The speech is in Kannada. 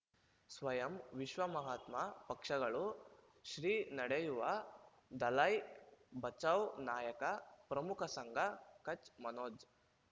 ಸ್ವಯಂ ವಿಶ್ವ ಮಹಾತ್ಮ ಪಕ್ಷಗಳು ಶ್ರೀ ನಡೆಯೂವ ದಲೈ ಬಚೌ ನಾಯಕ ಪ್ರಮುಖ ಸಂಘ ಕಚ್ ಮನೋಜ್